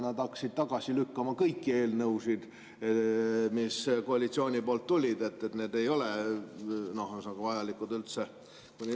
Nad hakkasid tagasi lükkama kõiki eelnõusid, mis koalitsiooni poolt tulid, et need ei ole üldse vajalikud.